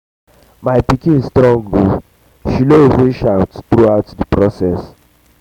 my pikin strong oo she no even shout throughout the process